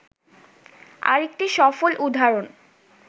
আরেকটি সফল উদাহরণ